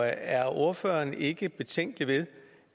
er ordføreren ikke betænkelig ved